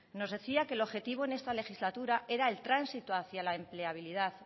nos decía que el objetivo en esta legislatura era el tránsito hacia la empleabilidad